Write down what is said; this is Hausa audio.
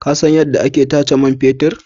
Ka san yadda ake tace man fetur?